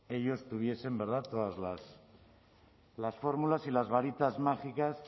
ellos tuviesen verdad todas las fórmulas y las varitas mágicas